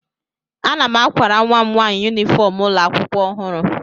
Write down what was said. Ana m akwara nwa m nwaanyị yunifọm ụlọ akwụkwọ ọhụrụ